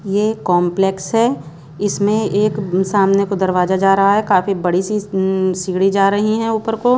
ये कॉम्प्लेक्स है इसमें एक सामने को दरवाज़ा जा रहा है काफ़ी बड़ी सी उम्म सीढ़ी जा रही हैं ऊपर को।